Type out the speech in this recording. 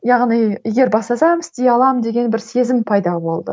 яғни егер бастасам істей аламын деген бір сезім пайда болды